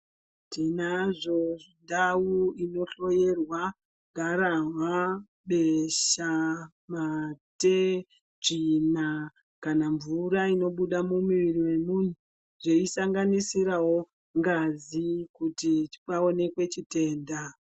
Tinazvo zvindau inohloyerwa gararwa ,besha , mate , tsvina kana mvura inobuda mumwiri wemuntu teisanganisirawo ngazi kuti paonekwe chitenda.